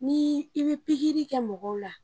Ni i bi pikiri kɛ mɔgɔw la.